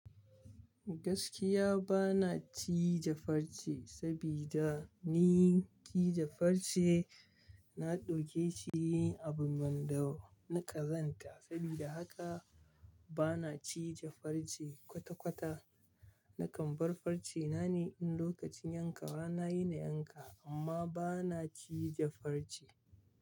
Gaskiya bana cije farce sabida ni cije farce na ɗauke shi abu wanda na ƙazanta. Sabida haka bana cije farce kwata-kwata. Nakan bar farce na ne in lokacin yanka nayi na yanka amma bana cije farce.